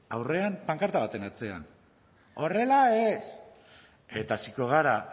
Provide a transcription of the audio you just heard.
aurrean pankarta baten atzean horrela ez eta hasiko gara